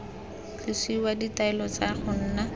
tlosiwa ditaelo tsa go nna